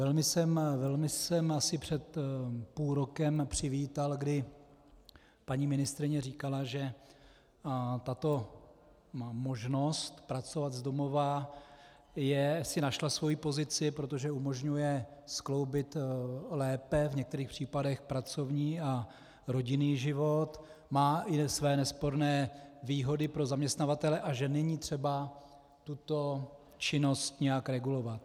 Velmi jsem asi před půl rokem přivítal, kdy paní ministryně říkala, že tato možnost pracovat z domova si našla svoji pozici, protože umožňuje skloubit lépe v některých případech pracovní a rodinný život, má i své nesporné výhody pro zaměstnavatele, a že není třeba tuto činnost nějak regulovat.